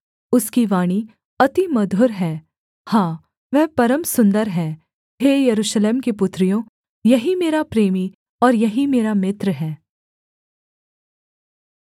उसकी वाणी अति मधुर है हाँ वह परम सुन्दर है हे यरूशलेम की पुत्रियों यही मेरा प्रेमी और यही मेरा मित्र है